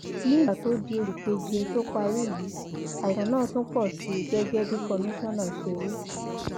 nígbà tó di oṣù keje tó parí yìí àìsàn náà tún pọ sí i gẹgẹ bí kọmíṣánná ṣe wí